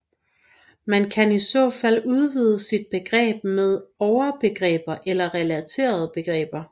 Man kan i så fald udvide sit begreb med overbegreber eller relaterede begreber